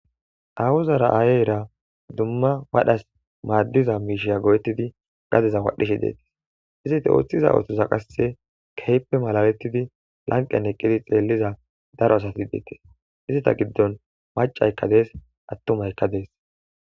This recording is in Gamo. Awuzara aayera dumma wadhas maaddiza miishiya go7ettidi gadeza wadhishe dees. Izite oothiza oothoza qasse kehippe malalettidi lanqqen eqqidi xeelliza daro asati deetes. Izata giddon macaykka dees attumaykka dees.